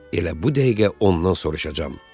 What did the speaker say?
Elə bu dəqiqə ondan soruşacağam.